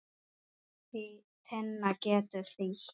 Tinna getur þýtt